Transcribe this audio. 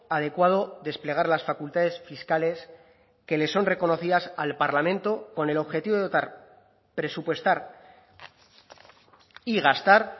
adecuado desplegar las facultades fiscales que le son reconocidas al parlamento con el objetivo de dotar presupuestar y gastar